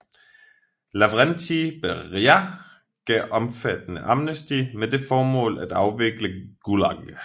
Lavrenti Beria gav omfattende amnesti med det formål at afvikle GULAG